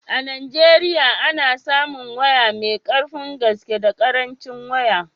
A Najeriya ana samun waya mai karfin gaske da karancin waya